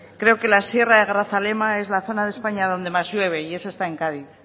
creo que la sierra de grazalema es la zona de españa donde más llueve y eso está en cádiz